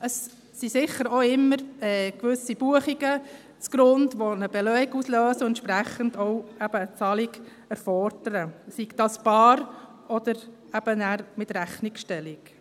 Es sind sicher immer gewisse Buchungen, die einen Beleg auslösen und entsprechend eben auch eine Zahlung erfordern, sei das bar oder eben mit Rechnungsstellung.